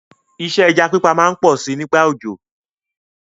Isẹ́ ẹja pípa má n pọ si nígbà òjò